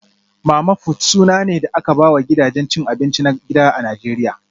Mama-fut suna ne da aka ba wa gidajen cin abinci na gida a Najeriya